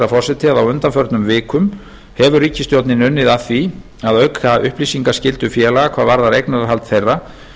að á undanförnum vikum hefur ríkisstjórnin unnið að því að auka upplýsingaskyldu félaga hvað varðar eignarhald þeirra